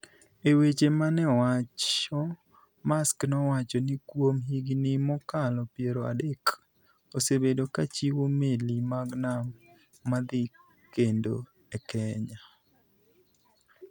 E weche ma ne owacho, Maersk nowacho ni kuom higini mokalo piero adek, osebedo ka chiwo meli mag nam madhi kendo a Kenya.